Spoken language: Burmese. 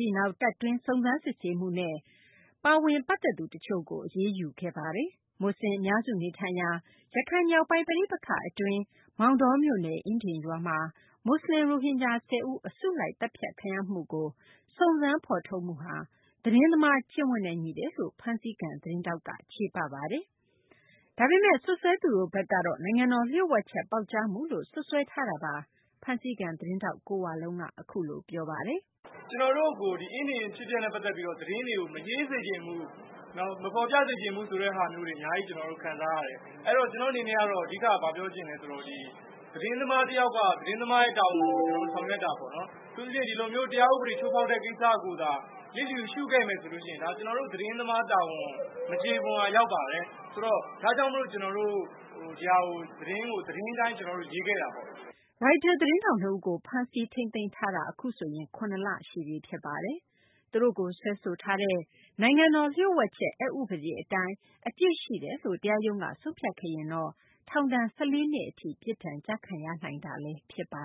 ပြီးနောက် တပ်တွင်း စုံစမ်းစစ်ဆေးမှုနဲ့ ပတ်သက်သူ တချို့ကို အရေးယူခဲ့တာပါ။ မူဆလင် အများစု နေထိုင်ရာ ရခိုင် မြောက်ပိုင်း ပဋိပက္ခ အတွင်း မောင်တောမြို့နယ် အင်းဒင်ရွာမှာ မူဆလင် ရိုဟင်ဂျာ ၁၀ ဦး အစုလိုက် သတ်ဖြတ်ခံရမှုကို စုံစမ်းဖော်ထုတ်မှုဟာ သတင်းသမား ကျင့်ဝတ်နဲ့ ညီတယ်လို့ ဖမ်းဆီးခံ သတင်းထောက်တွေက ချေပနေတာပါ။ ဒါပေမယ့် စွပ်စွဲသူတို့ ဘက်ကတော့ နိုင်ငံတော် လျို့ဝှက်ချက် ပေါက်ကြားမှုလို့ စွပ်စွဲတာ ဖြစ်ပါတယ်။ ဖမ်းဆီးခံ သတင်းထောက် ကိုဝလုံးကတော့ အခုလို ပြောပါတယ်။ "ကျနော်တို့ကို အင်းဒင်အဖြစ်အပျက်နဲ့ ပတ်သက်ပြီးတော့ သတင်းတွေကို မရေးစေချင်ဘူး မဖော်ပြစေချင်ဘူး ဆိုတာမျိုးတွေ အများကြီးခံစားရတယ်။ အဲဒီတော့ ကျနော့်အနေနဲ့ကတော့ အဓိကဘာပြောချင်သလဲဆိုတော့ သတင်းသမားတယောက်က သတင်းသမားတာဝန်ကို ဆောင်ရွက်တာပေါ့နော် အထူးသဖြင့် ဒီလိုမျိုးတရားဥပဒေချိုးဖောက်တဲ့ ကိစ္စကိုသာ လစ်လျူရှုခဲ့မယ်ဆိုရင် ဒါကျနော်တို့ သတင်းသမားတာဝန် မကျေပွန်ရာရောက်ပါတယ်။ ဒါကြောင့် ကျနော်တို့ သတင်းကို သတင်းအတိုင်းရေး ခဲ့တာပေါ့။" ရိုက်တာ သတင်းထောက် နှစ်ဦးကို ဖမ်းဆီးထိန်းသိမ်းထားတာ အခုဆိုရင် ၇ လရှိပြီ ဖြစ်ပါတယ်။ အခု သူတို့ကို စွဲဆိုထားတဲ့ နိုင်ငံတော် လျှို့ဝှက်ချက် အက်ဥပဒေ အတိုင်း အပြစ်ရှိတယ်လို့ တရားရုံးက ဆုံးဖြတ်ခဲ့ရင်တော့ ထောင်ဒဏ် ၁၄ နှစ်ထိ ပြစ်ဒဏ်ကျခံရနိုင်တာလည်း ဖြစ်ပါ